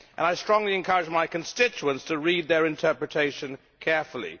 I strongly encourage my constituents to read their interpretation carefully.